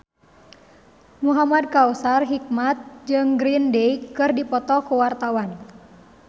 Muhamad Kautsar Hikmat jeung Green Day keur dipoto ku wartawan